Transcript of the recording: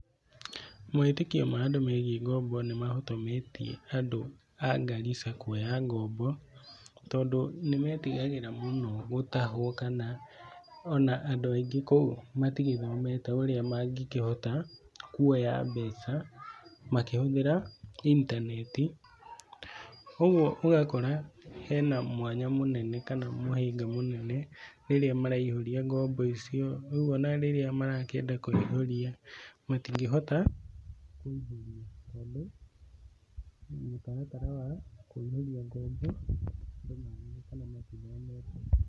Mawĩtĩkio marĩa megie ngombo nĩ mahotometie andũ a Garissa kuoya ngombo, tondũ nĩmetigagĩra mũno gũtahwo kana o na andũ angĩ kũu matigĩthomete ũrĩa mangĩkĩhota kuoya mbeca makĩhũthĩra intaneti, ũguo ũgakora hena mwanya mũnene kana mũhĩnga mũnene rĩrĩa maraihũrĩa ngombo icio, rĩu ona rĩrĩa marakĩenda kũihũria matingĩhota kũihũria tondũ mũtaratara wa kũihũria ngombo.